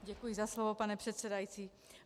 Děkuji za slovo, pane předsedající.